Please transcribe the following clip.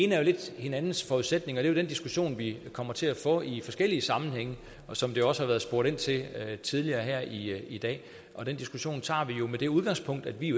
er jo lidt hinandens forudsætninger det er jo den diskussion vi kommer til at få i forskellige sammenhænge og som der også er blevet spurgt ind til tidligere her i i dag og den diskussion tager vi jo med det udgangspunkt at vi